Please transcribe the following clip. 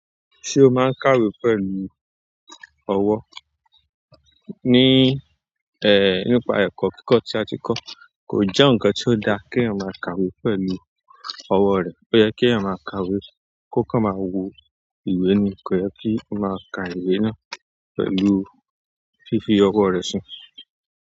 Ṣé o máa ń kàwé pẹ̀lú ọwọ́? Ni, eh, nípa ẹ̀kọ́ kíkọ́ tí a ti kọ́, kò jẹ́ ǹkan tí ó dá kí èèyàn máa kàwé pẹ̀lú ọwọ́ rẹ̀. Ó yẹ kí èèyàn máa kàwé kó ka máa wo ìwé ni, kò yẹ kí ó máa ka ìwé náà pẹ̀lú fífi ọwọ́ rẹ̀ sùn.